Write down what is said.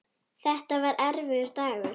Þetta var erfiður dagur.